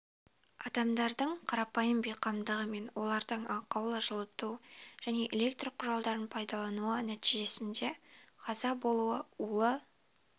адамдардың қарапайым бейқамдығы мен олардың ақаулы жылыту және электр құралдарын пайдалануы нәтижесінде қаза болуы улы